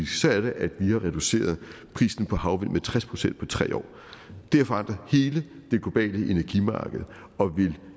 så er det at vi har reduceret prisen på havvind med tres procent på tre år det har forandret hele det globale energimarked og vil